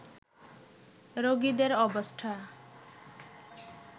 রোগীদের অবস্থা